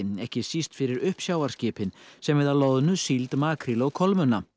ekki síst fyrir uppsjávarskipin sem veiða loðnu síld makríl og kolmunna